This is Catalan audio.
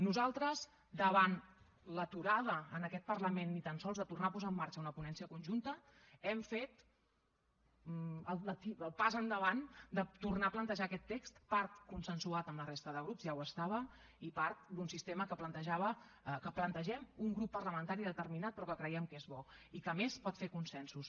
nosaltres davant l’aturada en aquest parlament ni tan sols de tornar a posar en marxa una ponència conjunta hem fet el pas endavant de tornar a plantejar aquest text part consensuat amb la resta de grups ja ho estava i part d’un sistema que plantejava que plantegem un grup parlamentari determinat però que creiem que és bo i que a més pot fer consensos